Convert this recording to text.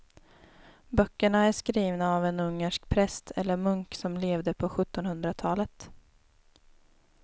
Böckerna är skrivna av en ungersk präst eller munk som levde på sjuttonhundratalet.